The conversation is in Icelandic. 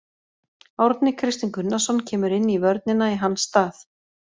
Árni Kristinn Gunnarsson kemur inn í vörnina í hans stað.